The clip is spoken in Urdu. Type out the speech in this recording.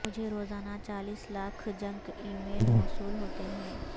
مجھے روزانہ چالیس لاکھ جنک ای میل موصول ہوتے ہیں